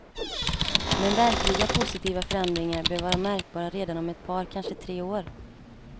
Men verkliga positiva förändringar bör vara märkbara redan om ett par, kanske tre år.